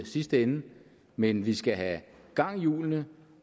sidste ende men vi skal have gang i hjulene